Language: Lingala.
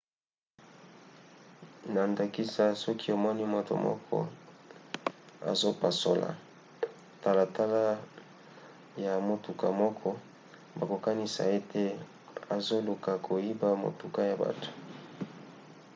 na ndakisa soki omoni moto moko azopasola talatala ya motuka moko bokokanisa ete azoluka koyiba motuka ya bato